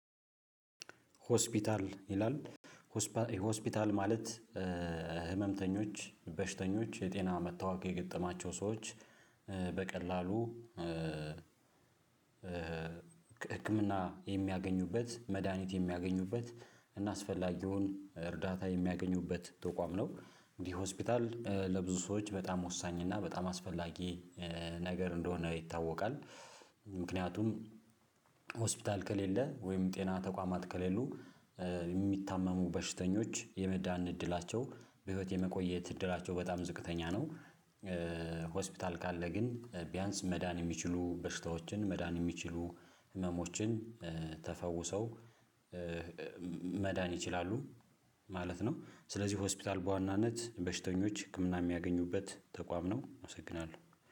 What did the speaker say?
ሆስፒታል ይላል ሆስፒታል ማለት ህመምተኞች በሽተኞች የጤና መታወክ የገጠማቸው ሰዎች በቀላሉ ህክምና የሚያገኙበት መድሃኒት የሚያገኙበት እና አስፈላጊውን እርዳታ የሚያገኙበት ተቋም ነው። እንዲህ ሆስፒታል ለብዙ ሰዎች በጣም ወሳኝ እና በጣም አስፈላጊ ነገር እንደሆነ ይታወቃል። ምክንያቱም ሆስፒታል ከሌለ ወይም ጤና ተቋማት ከሌሉ የሚታመሙ በሽተኞች የመዳን እድላቸው በህይወት የመቆየት እድላቸው በጣም ዝቅተኛ ነው። ሆስፒታል ካለ ግን ቢያንስ መዳን የሚችሉ በሽታዎችን መዳን የሚችሉ ህመሞችን ተፈውሰው መዳን ይችላሉ ማለት ነው። ስለዚህ ሆስፒታል በዋናነት በሽተኞች ህክምና የሚያገኙበት ተቋም ነው። አመሰግናለሁ